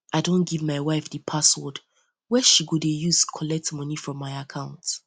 i don um give my um wife di password wey she go dey use collect um moni from my account